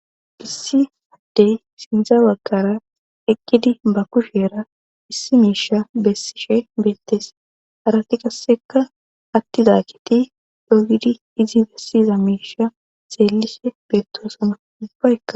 Issi addey sindzawaggara eqqidi ba kushera issi miisha bessishe beettes arati qasseka attida kiti dogidi izi bessiza miisha xeellishe beettoosama ubbayka